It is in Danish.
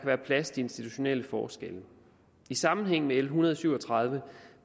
være plads til institutionelle forskelle i sammenhæng med l en hundrede og syv og tredive